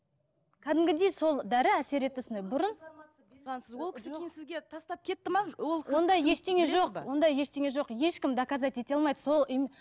кәдімгідей сол дәрі әсер етті сондай бұрын ол кісі кейін сізге тастап кетті ме ондай ештеңе жоқ ондай ештеңе жоқ ешкім доказать ете алмайды сол